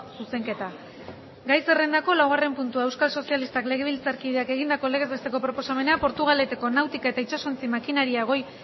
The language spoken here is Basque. zuzenketa gai zerrendako laugarren puntua euskal sozialistak legebiltzar taldeak egindako legez besteko proposamena portugaleteko nautika eta itsasontzi makineria goi